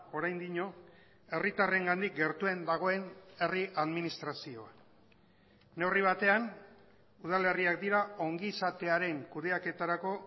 oraindik herritarrengandik gertuen dagoen herri administrazioa neurri batean udalerriak dira ongizatearen kudeaketarako